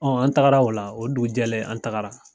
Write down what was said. Ɔn an tagara o la, o dugu jɛlen an tagara.